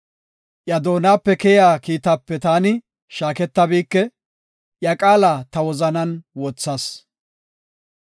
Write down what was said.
Iya doonape keyiya kiitaape taani shaaketabike; iya qaala ta wozanan wothas.